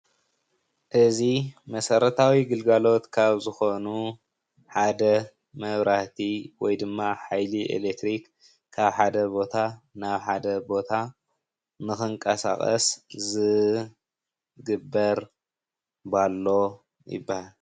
እዚ መሰረታዊ ግልጋሎት ካብ ዝኾኑ ሓደ መብራህቲ ወይ ድማ ሓይሊ ኤሌክትሪክ ካብ ሓደ ቦታ ናብ ሓደ ቦታ ንኽንቀሳቀስ ዝግበር ፓሎ ይበሃል።